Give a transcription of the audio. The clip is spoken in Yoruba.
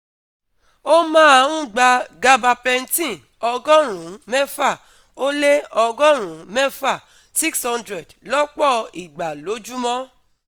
Ó máa ń gba gabapentin ọgọ́rùn-ún mẹ́fà ó lé ọgọ́rùn-ún mẹ́fà six hundred lọ́pọ̀ ìgbà lójúmọ́